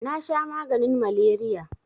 nasha maganin maleriya